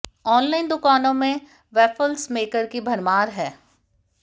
online दुकानों में भी वैफल्स मेकर की भरमार है